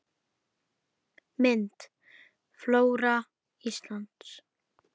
Mynd: Flóra Íslands